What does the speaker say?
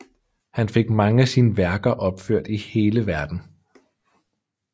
Han fik mange af sine værker opført i hele Verden